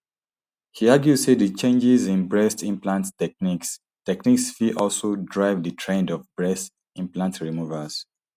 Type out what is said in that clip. she argue say di changes in breast implant techniques techniques fit also drive di trend of breast implant removals